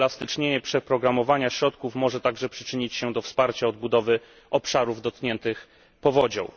Uelastycznienie przeprogramowania środków może także przyczynić się do wsparcia odbudowy obszarów dotkniętych powodzią.